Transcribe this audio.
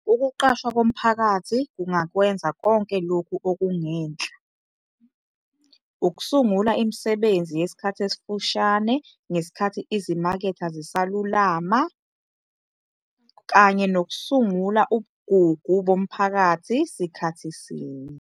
Ukuqashwa komphakathi kungakwenza konke lokhu okungenhla- ukusungula imisebenzi yesikhathi esifushane ngesikhathi izimakethe zisalulama, kanye nokusungula ubugugu bomphakathi sikhathi sinye.